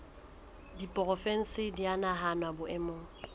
diporofensi di a nahanwa boemong